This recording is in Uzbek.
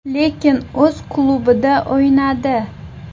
Lekin o‘z klubida o‘ynadi.